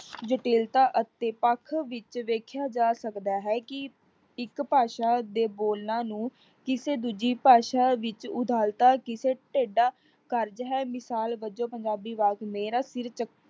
ਜਟਿਲਦਾ ਅਤੇ ਪੱਖ ਵਿੱਚ ਵੇਖਿਆ ਜਾ ਸਕਦਾ ਹੈ ਕਿ ਇੱਕ ਭਾਸ਼ਾ ਦੇ ਬੋਲਾਂ ਨੂੰ ਕਿਸੇ ਦੂਜੀ ਭਾਸ਼ਾ ਵਿੱਚ ਉਦਾਤਾ ਕਿਸੇ ਢੇਡਾ ਕਾਰਜ ਹੈ, ਮਿਸਾਲ ਵਜੋਂ ਪੰਜਾਬੀ ਅਵਾਜ ਮੇਰਾ ਸਿਰ